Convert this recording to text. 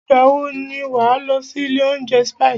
Ìgbà wọ ni wà á lọ sí ilé oúnjẹ Spices?